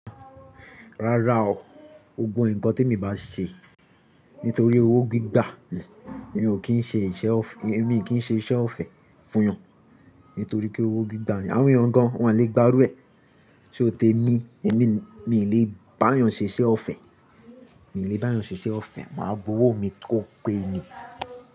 Rárá o, gbogbo nǹkan tí èmi bá ṣe nítorí owó gbígbà ni, èmi kì í ṣe iṣẹ́ ọ̀fẹ́ fún'yan nítorí pé owó gbígbà ni. Àwọn èèyàn gan an wọ́n le gba irú ẹ, ṣó tèmi? Èmi, mi ò lè bá ẹeyan ṣe iṣẹ́ ọ̀fẹ́, màá gbowó mi kó gbé ni.